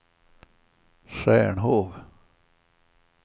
Stjärnhov